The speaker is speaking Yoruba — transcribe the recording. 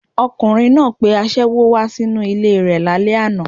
Ọkùnrin náà pe aṣẹ́wó wá sí inú ilé e rẹ̀ lálẹ́ àná